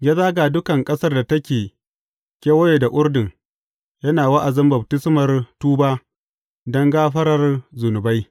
Ya zaga dukan ƙasar da take kewaye da Urdun, yana wa’azin baftismar tuba don gafarar zunubai.